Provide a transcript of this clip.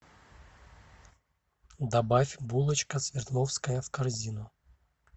добавь булочка свердловская в корзину